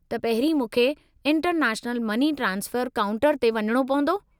त, पहिरीं मूंखे इंटरनेशनल मनी ट्रांसफ़रु काउंटर ते वञणो पवंदो?